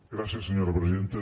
gràcies senyora presidenta